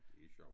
Det sjovt